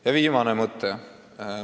Ja viimane mõte.